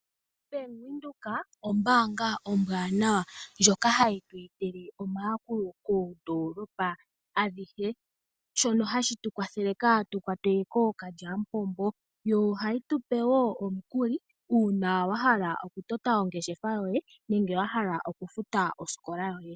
Bank Windhoek ombaanga ombwanawa . Ndjoka hiyi tu etele omayakulo poondoolopa adhihe. Shono hashi tu kwathele kaatu kwatwe kookalyampombo. Yo ohayi tupe woo omukuli uuna wa hala oku tota ongeshefa yoye nenge wahala oku futa osikola yoye.